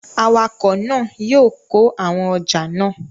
Awakọ̀ náà yóò kó àwọn ọjà náà